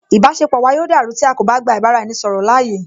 Ìbáṣepọ̀ wa yóò dàrú tí a kò bá gba ìbá ra ẹni ṣọ̀rọ̀ láàyè